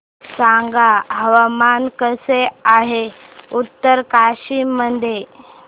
सांगा हवामान कसे आहे उत्तरकाशी मध्ये